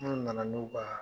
na na n'u ba